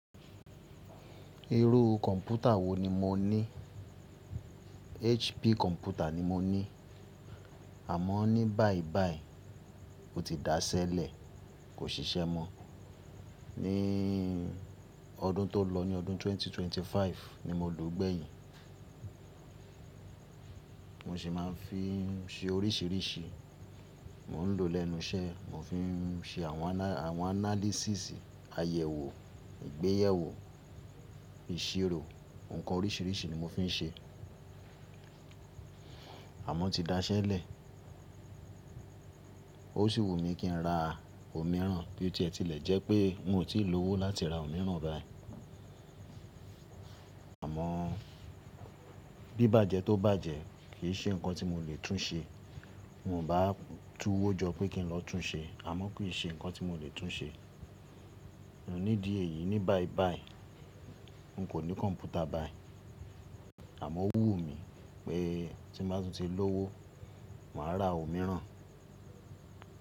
Irú kọ̀mpútà wo ni mo ní? HP kọ̀mpútà ni mo ní. Àmọ́ ní báibái ó ti dasẹ́lẹ̀, kò ṣiṣẹ́ mọ. Ní ọdún tó lọ, ní ọdún 2025 ni mo lò ó gbẹ̀yìn. Mo sì máa ń fi ṣe oríṣiríṣi. Mo ń lò ó lẹ́nu iṣẹ́, mo fi ń ṣe àwọn ana-- àwọn análísísì, àyẹ̀wò, ìgbéyẹ̀wò, ìṣirò, ǹkan oríṣiríṣi ni mo fi ń ṣe. Àmọ́ ó ti dasẹ́lẹ̀. Ó sì wù mí kí n ra òmíràn bí ó ti ẹ ti lẹ̀ jẹ́ pé mi ò tí ì lọ́wọ́ láti ra òmíràn báyìí. Àmọ́ bí bájẹ tó bá jẹ́ kì í ṣe ǹkan tí mo lè tún ṣe. Mo bá túwó jọ pé kí n lọ tún ṣe, àmọ́ kì í ṣe ǹkan tí mo lè tún ṣe. Òní dí èyí, ní báibái n kò ní kọ̀mpútà báyìí. Àmọ́ ó wù mí pé tí mo bá tún ti lọ́wọ́, màá ra òmíràn.